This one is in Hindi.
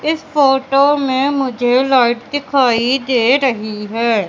इस फोटो में मुझे लाइट दिखाई दे रही है।